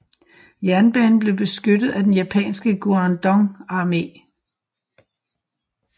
Jernbanen blev beskyttet af den japanske Guandong armé